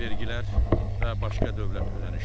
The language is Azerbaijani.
Vergilər və başqa dövlət ödənişləri.